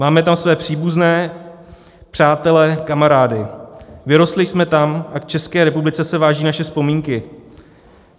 Máme tam své příbuzné, přátele, kamarády, vyrostli jsme tam a k České republice se vážou naše vzpomínky.